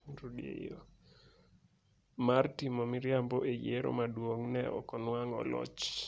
mar timo miriambo e yiero maduong’, ne ok onwang'o loch.